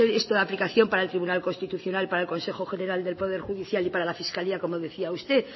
ser esto de aplicación para el tribunal constitucional para el consejo general del poder judicial y para la fiscalía como decía usted